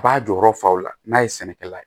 A b'a jɔyɔrɔ fa o la n'a ye sɛnɛkɛla ye